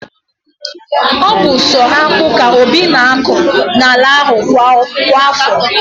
Ọ bu so akpu ka Obi na akọ n'ala ahụ kwa afọ